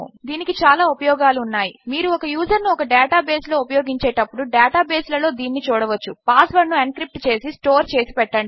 దీనికి చాలా ఉపయోగములు ఉన్నాయి మీరు ఒక యూజర్ ను ఒక డేటా బేస్ లో ఉపయోగించేటప్పుడు డేటా బేస్ లలో దీనిని వాడవచ్చు పాస్ వర్డ్ ను ఎన్క్రిప్ట్ చేసి స్టోర్ చేసి పెట్టండి